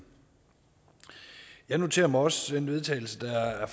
jeg noterer mig også til vedtagelse der er